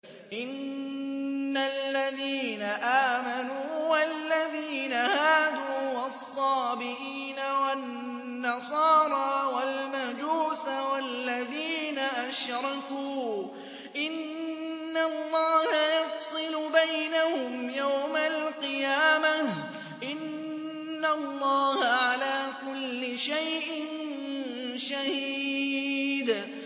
إِنَّ الَّذِينَ آمَنُوا وَالَّذِينَ هَادُوا وَالصَّابِئِينَ وَالنَّصَارَىٰ وَالْمَجُوسَ وَالَّذِينَ أَشْرَكُوا إِنَّ اللَّهَ يَفْصِلُ بَيْنَهُمْ يَوْمَ الْقِيَامَةِ ۚ إِنَّ اللَّهَ عَلَىٰ كُلِّ شَيْءٍ شَهِيدٌ